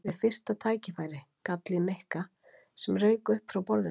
Við fyrsta tækifæri? gall í Nikka sem rauk upp frá borðinu.